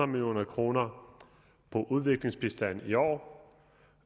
million kroner på udviklingsbistanden i år